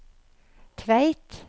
Tveit